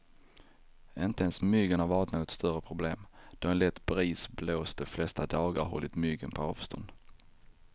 Inte ens myggen har varit något större problem, då en lätt bris blåst de flesta dagar och hållit myggen på avstånd.